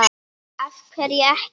af hverju ekki?